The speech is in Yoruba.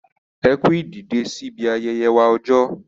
Ẹ kú ìdìdè sí ibi ayẹyẹ wa ọjọ.